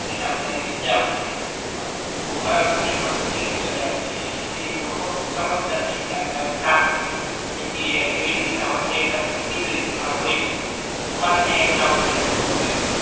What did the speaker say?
એને આપડે સજા આપવી જોઈએ એમ ટૂંક મા બહુ કડક તો નહી પણ મીડિયમ સજા આપવી જોઈએ કે જેથી લોકો સમજતા નથી કે આપડે આવુ ના કાવરવુ જોઈએ જેવી રીતના વન્ય વિભાગ મા કીધુ ઈ પ્રમાણે હોય શકે અમારે કઈ આવો બનાવ બનેલો હતો કે